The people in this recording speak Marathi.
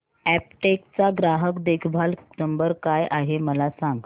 अॅपटेक चा ग्राहक देखभाल नंबर काय आहे मला सांग